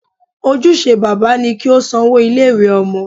Ojúse bàbá ni kí ó san owó ilé ìwé Ọmọ